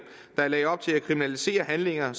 der lagde op til at kriminalisere handlinger